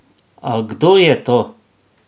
A kdo je to?